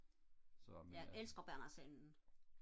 jeg elsker Berner Sennen